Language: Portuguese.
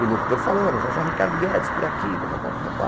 E o locutor falando, já já Ricardo Guedes por aqui, papapá, papapá.